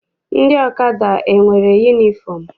Ndị ọkada enwere yunifọm?